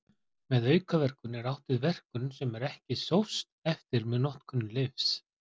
Með aukaverkun er átt við verkun sem ekki er sóst eftir með notkun lyfs.